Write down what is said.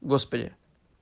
господи